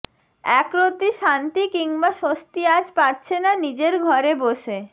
একরত্তি শান্তি কিংবা স্বস্তি আজ পাচ্ছে না নিজের ঘরে বসে